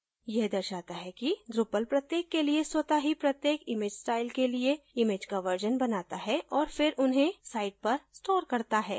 यह दर्शाता है कि drupal प्रत्येक के लिए स्वत: ही प्रत्येक image style के लिए image का versions बनाता है औऱ फिर उन्हें site पर stores करता है